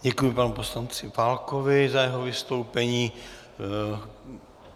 Děkuji panu poslanci Válkovi za jeho vystoupení.